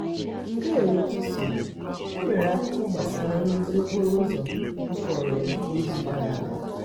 ndewo chisom e nwere akụkọ gbasara nrụzi okporoụzọ ha kwuru um n'izu gara aga?